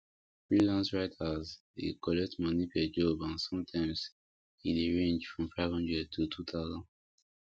freelance writers dey collect money per job and sometimes e dey range from five hundred to two thousand